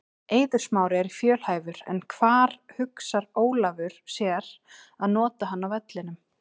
Eiður Smári er fjölhæfur en hvar hugsar Ólafur sér að nota hann á vellinum?